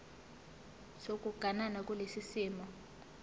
sokuganana kulesi simo